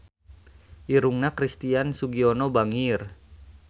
Irungna Christian Sugiono bangir